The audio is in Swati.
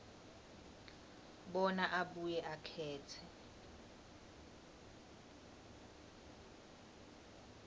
bona abuye akhetse